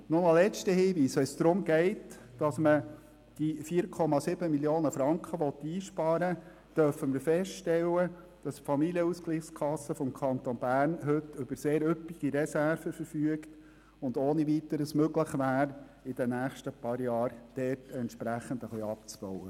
Ein letzter Hinweis: Wenn es darum geht, die 4,7 Mio. Franken einzusparen, dürfen wir feststellen, dass die Familienausgleichskasse des Kantons Bern heute über sehr üppige Reserven verfügt, sodass es ohne Weiteres möglich wäre, in den nächsten Jahren diesbezüglich entsprechend etwas abzubauen.